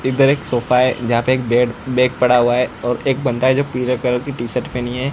इधर एक सोफा है जहां पे बेड बैग पड़ा है एक बंदा है जो पीले कलर की टी शर्ट पहनी है।